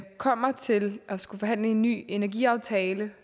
kommer til at skulle forhandle en ny energiaftale